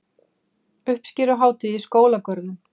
Uppskeruhátíð í skólagörðum